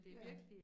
Ja